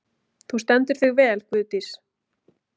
Þú stendur þig vel, Guðdís!